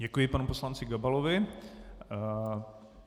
Děkuji panu poslanci Gabalovi.